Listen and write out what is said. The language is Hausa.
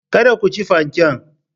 Kada ku ci fanken.